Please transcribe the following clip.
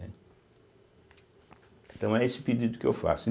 Então é esse o pedido que eu faço.